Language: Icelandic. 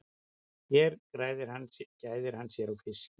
Hér gæðir hann sér á fiski.